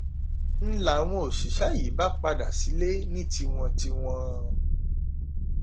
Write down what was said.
n làwọn òṣìṣẹ́ yìí bá padà sílé ní tiwọn tiwọn